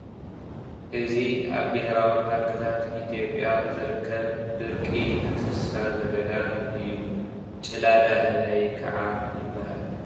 እዚ ኣብ ቤሄራዊ ፖርክታት ኢትዮጵያ ዝርከብ ድርቂ እንስሳ ዘገዳም እዩ፡፡ ጭላዳ ህበይ ከዓ ይባሃል፡፡